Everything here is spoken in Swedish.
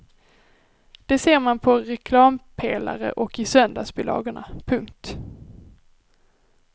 Det ser man på reklampelare och i söndagsbilagorna. punkt